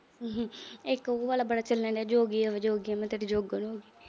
ਇੱਕ ਉਹ ਵਾਲਾ ਬੜਾ ਚੱਲਣ ਡੀਆ। ਜੋਗੀਆਂ ਵੇ ਜੋਗੀਆਂ, ਮੈਂ ਤੇਰੀ ਜੋਗਣ ਹੋ ਗਈ।